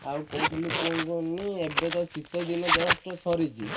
ଆଉ କହୁଥିଲି କଣ କୁହନି ଏବେ ତ ଶୀତ ଦିନ just ସରିଚି।